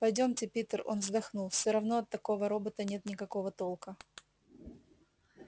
пойдёмте питер он вздохнул все равно от такого робота нет никакого толка